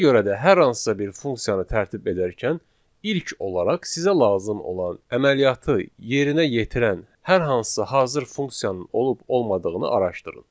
Ona görə də hər hansısa bir funksiyanı tərtib edərkən, ilk olaraq sizə lazım olan əməliyyatı yerinə yetirən hər hansısa hazır funksiyanın olub-olmadığını araşdırın.